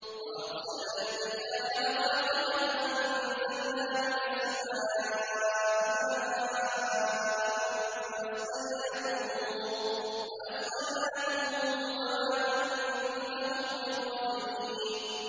وَأَرْسَلْنَا الرِّيَاحَ لَوَاقِحَ فَأَنزَلْنَا مِنَ السَّمَاءِ مَاءً فَأَسْقَيْنَاكُمُوهُ وَمَا أَنتُمْ لَهُ بِخَازِنِينَ